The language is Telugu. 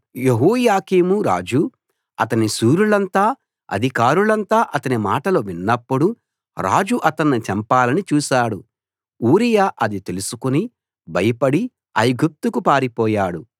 యెహోయాకీం రాజు అతని శూరులంతా అధికారులంతా అతని మాటలు విన్నప్పుడు రాజు అతణ్ణి చంపాలని చూశాడు ఊరియా అది తెలుసుకుని భయపడి ఐగుప్తుకు పారిపోయాడు